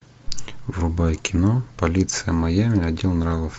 врубай кино полиция майами отдел нравов